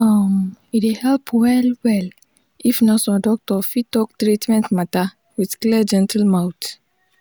um e dey help well-well if nurse or doctor fit talk treatment matter with clear gentle mouth.